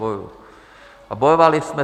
Bojuji a bojovali jsme.